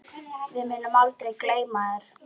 Við munum aldrei gleyma þér.